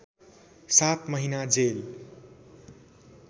सात महिना जेल